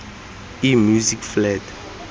e music flat